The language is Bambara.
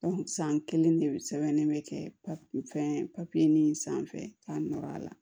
san kelen de sɛbɛnnen bɛ kɛ fɛn papiye nin sanfɛ k'a nɔgɔya la